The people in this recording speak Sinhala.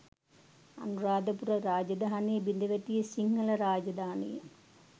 අනුරාධපුර රාජධානිය බිඳවැටි සිංහල රාජධානිය